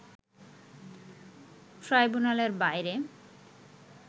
ট্রাইব্যুনালের বাইরে